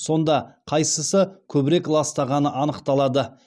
сонда қайсысы көбірек ластағаны анықталады